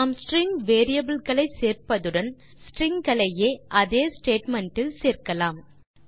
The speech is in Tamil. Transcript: நாம் ஸ்ட்ரிங் வேரியபிள் களை சேர்ப்பதுடன் ஸ்ட்ரிங் களையே அதே ஸ்டேட்மெண்ட் இல் சேர்க்கலாம்